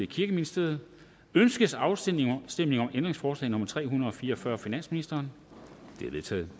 kirkeministeriet ønskes afstemning om ændringsforslag nummer tre hundrede og fire og fyrre af finansministeren det er vedtaget